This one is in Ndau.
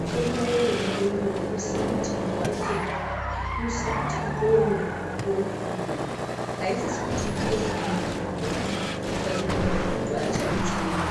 mitombo yonaiyoyo inosisa kuti waitenga, inosise kuti ikonywe mukuwo ngomukuwo aisisi kuti ipinde mututu ngokuti ikatopinda mututu aichadetseri